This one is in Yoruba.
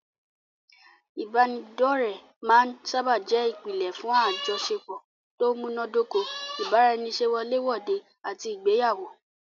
Ìbánidọ́ọ̀rẹ́ máa n sáábà jẹ́ ìpínlẹ̀ fún àjọṣepọ̀ tó múná dóko, ìbára ẹni ṣe wọlé wòde àti ìgbéyàwó